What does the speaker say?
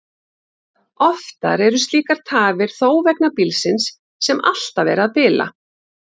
Oftar eru slíkar tafir þó vegna bílsins, sem alltaf er að bila.